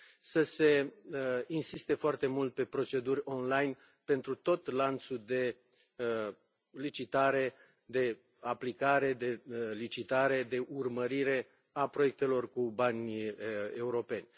să se insiste foarte mult pe proceduri online pentru tot lanțul de licitare, de aplicare, de urmărire a proiectelor cu bani europeni.